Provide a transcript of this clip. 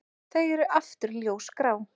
Þau eru aftur ljósgrá.